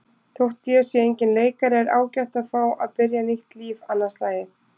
Þótt ég sé enginn leikari er ágætt að fá að byrja nýtt líf annað slagið.